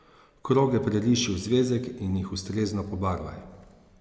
Kroge preriši v zvezek in jih ustrezno pobarvaj.